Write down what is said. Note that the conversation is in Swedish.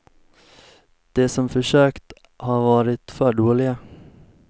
De som försökt har varit för dåliga.